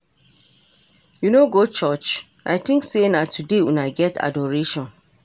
You no go churuch? I think say na today una get adoration.